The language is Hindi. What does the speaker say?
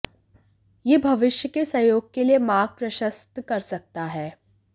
यह भविष्य के सहयोग के लिए मार्ग प्रशस्त कर सकता है